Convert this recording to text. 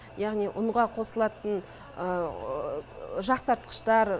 яғни ұнға қосылатын жақсартқыштар